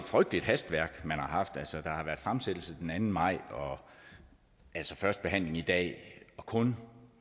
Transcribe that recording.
frygteligt hastværk man har haft altså der har været fremsættelse den anden maj og første behandling i dag og kun